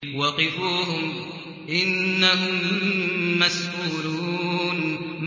وَقِفُوهُمْ ۖ إِنَّهُم مَّسْئُولُونَ